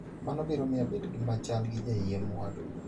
Mano biro miyo abed machal gi jaiem wadwa. "